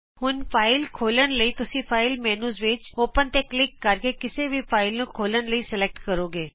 ਹੁਣ ਫਾਈਲ ਖੋਲ੍ਹਣ ਲਈ ਤੁਸੀਂ ਫਾਈਲ ਮੈਨਯੂ ਵਿਚ ਔਪਨਤੇ ਕਲਿਕ ਕਰ ਕੇ ਕਿਸੇ ਵੀ ਫਾਈਲ ਨੂੰ ਖੋਲ੍ਹਣ ਲਈ ਸਲੈਕਟ ਕਰੋਗੇ